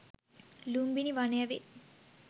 ලුම්බිණි වනය වේ.